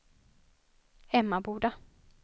Emmaboda